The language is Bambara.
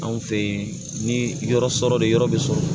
Anw fɛ yen ni yɔrɔ sɔrɔ de yɔrɔ bɛ sɔrɔ